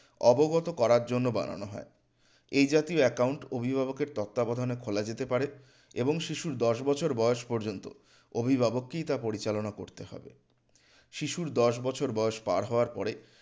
অবগত করার জন্য বানানো হয় এই জাতীয় account অভিভাবকের তত্ত্বাবধানে খোলা যেতে পারে এবং শিশুর দশ বছর বয়স পর্যন্ত অভিভাবককেই তা পরিচালনা করতে হবে শিশুর দশ বছর বয়স পার হওয়ার পরে